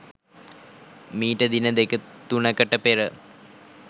මීට දින දෙක තුනකට පෙර